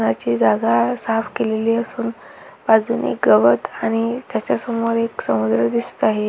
नाची जागा साफ केलेली असून बाजूने गवत आणि त्याच्या समोर एक समुद्र दिसत आहे.